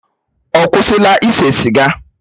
Ọ kwụsịla ise siga?